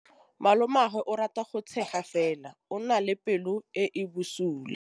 Malomagwe o rata go tshega fela o na le pelo e e bosula.